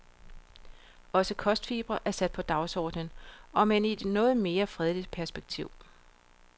Også kostfibre er sat på dagsordenen, omend i et noget mere fredeligt perspektiv.